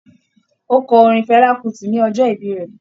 Ó kọ orin Fela Kuti ní ọjọ́ ìbí rẹ̀